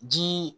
Ji